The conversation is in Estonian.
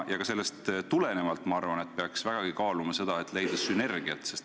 Ka sellest tulenevalt peaks vägagi püüdma leida sünergiat.